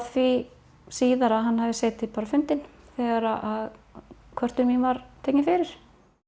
því síðar að hann hefði setið bara fundinn þegar að kvörtun mín var tekin fyrir